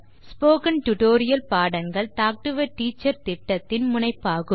spoken tutorial பாடங்கள் talk to a teacher திட்டத்தின் முனைப்பாகும்